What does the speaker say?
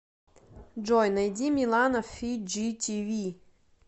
джой найди милана фиджитиви